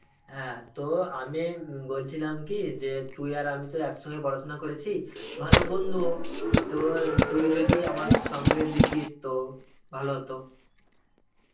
হ্যাঁ তো আমি উম বলছিলাম কি যে তুই আর আমি তো একসঙ্গে পড়াশোনা করেছি, ভালো বন্ধুও তো তুই যদি আমার সঙ্গে দিতিস তো ভালো হতো.